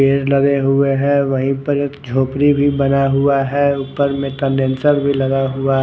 पेड़ लगे हुए है वही पर एक झोपडी भी बना हुआ है ऊपर में कंडेंसर भी लगा हुआ है।